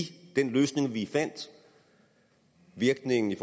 den løsning vi fandt virkningen